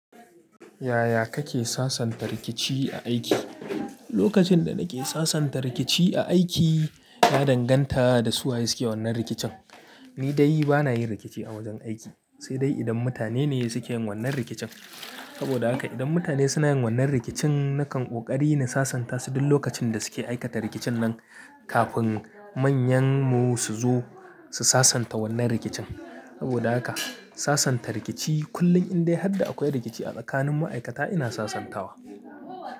Yaya kake sasanta rikici a aiki? Lokacin da nake sasanta rikici a aiki, na danganta da su waye suke wannan rikicin. Ni dai bana yin rikici a wajen aiki, sai dai idan mutane ne suke yin wannan rikicin. Saboda haka idan mutane suna yin wannan rikicin, nakan ƙoƙari na sasanta su duk lokacin da suke aikata rikicin nan, kafin manyan mu su zo su sasanta wannan rikicin. Saboda haka sasanta rikici kullum indai har da akwai rikici a tsakanin ma'aikata ina sasantawa.